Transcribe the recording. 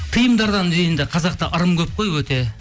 тиымдардан дегенде қазақта ырым көп қой өте мхм